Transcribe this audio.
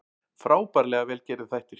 Frábærlega vel gerðir þættir